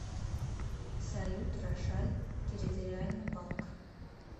салют рошаль территориальный банк